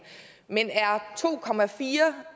men er to